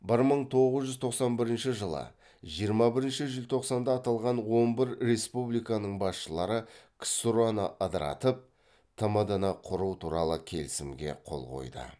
бір мың тоғыз жүз тоқсан бірінші жылы жиырма бірінші желтоқсанда аталған он бір республиканың басшылары ксро ны ыдыратып тмд ны құру туралы келісімге қол қойды